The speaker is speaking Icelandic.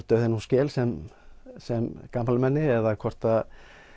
dauðann úr skel sem sem gamalmenni eða hvort